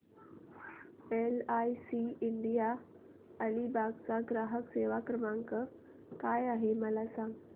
LIC India Alibag चा ग्राहक सेवा क्रमांक काय आहे मला सांगा